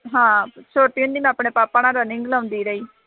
ਹਾਂ ਛੋਟੀ ਹੁੰਦੀ ਮੈਂ ਆਪਣੇ ਪਾਪਾ ਨਾਲ running ਲਾਉਂਦੀ ਰਹੀ।